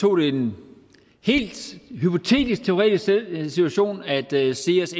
tog en helt hypotetisk teoretisk situation nemlig at seas